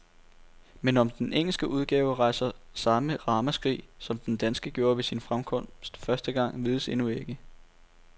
Men om den engelske udgave rejser samme ramaskrig, som den danske gjorde ved sin fremkomst første gang, vides endnu ikke.